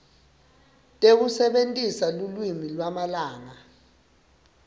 tekusebentisa lulwimi lwamalanga